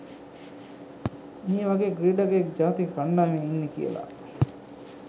මේ වගේ ක්‍රීඩකයෙක් ජාතික කණ්ඩායමේ ඉන්නෙ කියලා